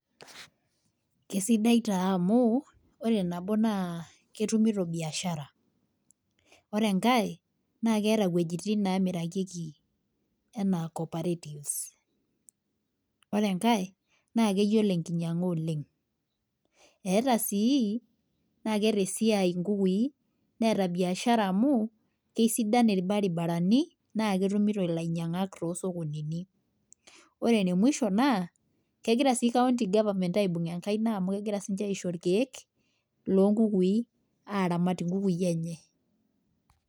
Keisidai taa amu ore nabo naa ketumito biashra. Ore enkae naa keeta wejitin nemirakieki enaa cooperatives. Ore enkae naa keyiolo enkinyanga oleng .eeta sii esiai nkukui ,naa ketaa biashara amu kisidan irbaribarani naa ketumito lainyangak toosokonini .Ore ene musho naa kegira sii county government aibung enkaina amu kegira siininche aisho irkeek loonkukui aramat nkukui enye.